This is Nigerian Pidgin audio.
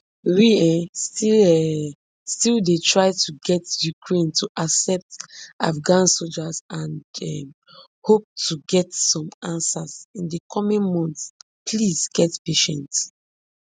we um still um still dey try to get ukraine to accept afghan soldiers and um hope to get some answers in di coming months please get patience